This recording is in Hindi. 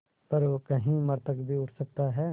पर कहीं मृतक भी उठ सकता है